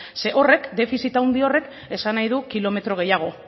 ze horrek defizit handi horrek esan nahi dut kilometro gehiago